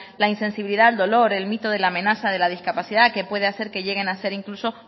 la insensibilidad al dolor el mito de la amenaza de la discapacidad que puede hacer que lleguen a ser incluso